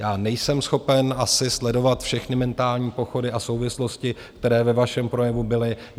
Já nejsem schopen asi sledovat všechny mentální pochody a souvislosti, které ve vašem projevu byly.